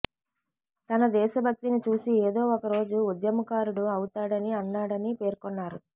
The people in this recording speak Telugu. తన దేశభక్తిని చూసి ఏదో ఒక రోజు ఉద్యమకారుడు అవుతాడని అన్నాడని పేర్కొన్నారు